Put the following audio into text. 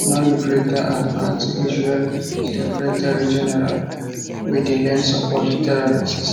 non grata and antiisrael secretarygeneral wey dey lend support to terrorists